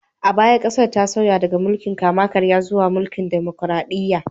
A baya, ƙasar ta sauya daga mulkin kama-karya zuwa mulkin demokraɗiyya